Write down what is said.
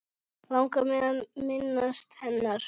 Langar mig að minnast hennar.